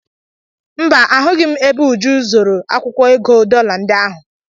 Mba, ahụghị m ebe Uju zoro akwụkwọ ego dọla ndị ahụ.